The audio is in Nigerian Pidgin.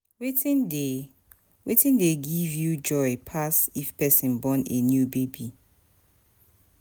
Wetin dey Wetin dey give you joy pass if pesin born a new baby?